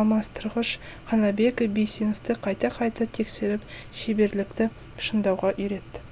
алмастырғыш қанабек бейсеновті қайта қайта тексеріп шеберлікті шыңдауға үйретті